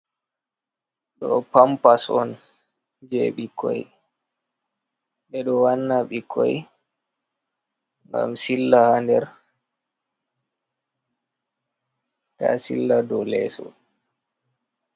Ɗo pampas on je ɓikkoi, ɓeɗo wanna ɓikkoi ngam silla ha nder, ta silla do leso.